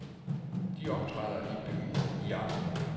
De optræder i byen i aften.